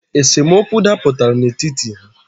Esemokwu daputara n’etiti ha